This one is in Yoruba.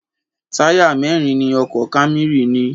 Táyà mẹ́rin ni ọkọ̀ Camry ní.